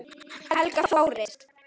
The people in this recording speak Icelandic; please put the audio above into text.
Helga Þóris.